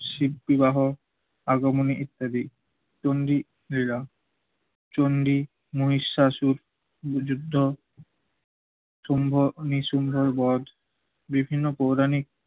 শিব বিবাহ, আগমনী ইত্যাদি। চণ্ডী লীলা, চণ্ডী মহিষাসুর যুদ্ধ, সম্ভ নিসুম্ভের বধ, বিভিন্ন পৌরাণিক